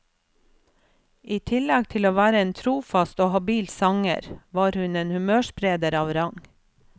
I tillegg til å være en trofast og habil sanger, var hun en humørspreder av rang.